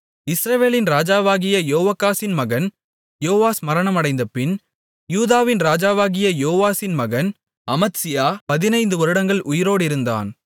இஸ்ரவேலின் ராஜாவாகிய யோவாகாசின் மகன் யோவாஸ் மரணமடைந்தபின் யூதாவின் ராஜாவாகிய யோவாசின் மகன் அமத்சியா பதினைந்துவருடங்கள் உயிரோடிருந்தான்